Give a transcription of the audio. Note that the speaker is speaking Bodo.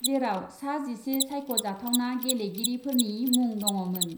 जेराव सा जिसे सायख'जाथावना गेलेगिरिफोरनि मुं दङमोन।